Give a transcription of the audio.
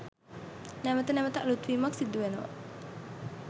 නැවත නැවත අලුත් වීමක් සිදු වෙනවා.